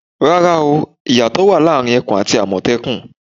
Rárá o, ìyàtọ̀ wà láàrin ẹkùn àti àmọ̀tẹ́kùn.